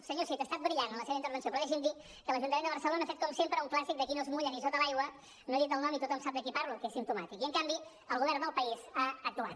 senyor cid ha estat brillant en la seva intervenció però deixi’m dir que l’ajuntament de barcelona ha fet com sempre un clàssic de qui no es mulla ni a sota l’aigua no he dit el nom i tothom sap de qui parlo que és simptomàtic i en canvi el govern del país ha actuat